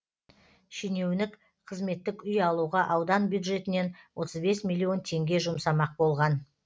шенеунік қызметтік үй алуға аудан бюджетінен отыз бес миллион теңге жұмсамақ болған